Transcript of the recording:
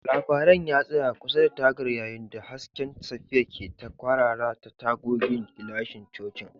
Labaran ya tsaya kusa da tagar yayin da hasken safiya ke ta kwarara ta tagogin gilashin cocin.